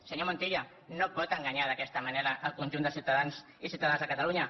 senyor montilla no pot enganyar d’aquesta manera el conjunt dels ciutadans i ciutadanes de catalunya